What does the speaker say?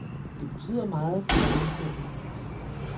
Det betyder meget, hvordan man ser ud.